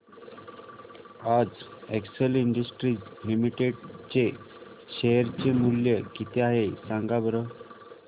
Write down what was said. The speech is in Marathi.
आज एक्सेल इंडस्ट्रीज लिमिटेड चे शेअर चे मूल्य किती आहे सांगा बरं